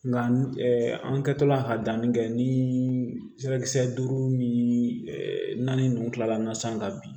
Nka an kɛtɔla ka danni kɛ ni sira kisɛ duuru ni naani ninnu kila sisan ka bin